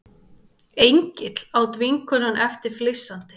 Engill, át vinkonan eftir flissandi.